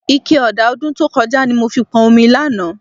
Ike ọ̀dà ọdún tó kọjá ni mo fi pọn omi lánàá